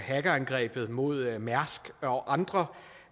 hackerangrebet mod mærsk og andre